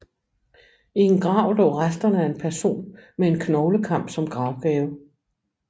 I en grav lå resterne af en person med en knoglekam som gravgave